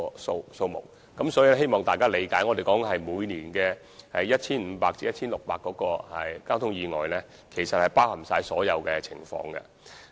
所以，我希望大家理解，我們所指的每年 1,500 至 1,600 宗交通意外，其實是包含了所有情況。